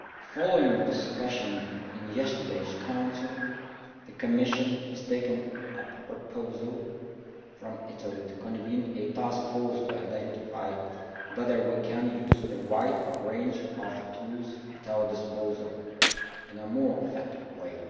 Following discussion in yesterday's Council, the Commission has taken up a proposal from Italy to convene a taskforce to identify whether we can use the wide range of tools at our disposal in a more effective way.